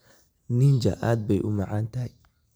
Ninja aad bay u macaan tahay.